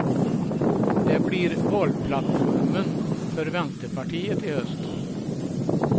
Det blir valplattformen för vänsterpartiet i höst.